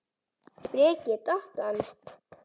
Breki: Datt hann?